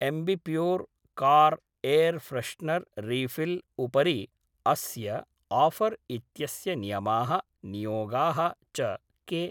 Ambi Pur car air freshener refill उपरि अस्य offer इत्यस्य नियमाः नियोगाः च के